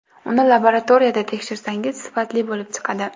Uni laboratoriyada tekshirsangiz, sifatli bo‘lib chiqadi.